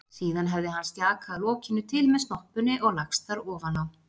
Síðan hefði hann stjakað lokinu til með snoppunni og lagst þar ofan á.